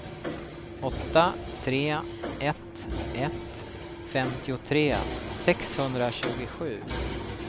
åtta tre ett ett femtiotre sexhundratjugosju